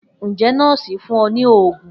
Njẹ nọọsi fun ọ ni oogun?